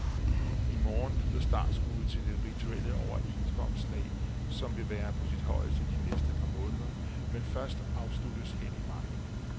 I morgen lyder startskuddet til det rituelle overenskomstslag, som vil være på sit højeste de næste par måneder, men først afsluttes hen i maj.